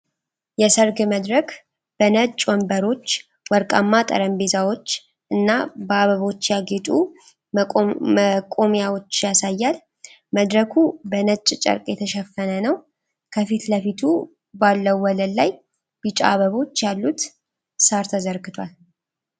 የሰርግ መድረክ በነጭ ወንበሮች፣ ወርቃማ ጠረጴዛዎች እና በአበቦች ያጌጡ መቆሚያዎች ያሳያል። መድረኩ በነጭ ጨርቅ የተሸፈነ ነው። ከፊት ለፊት ባለው ወለል ላይ ቢጫ አበቦች ያሉት ሳር ተዘርግቷል።